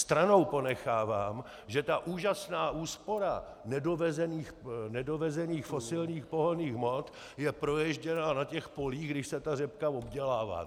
Stranou ponechávám, že ta úžasná úspora nedovezených fosilních pohonných hmot je proježděná na těch polích, když se ta řepka obdělává.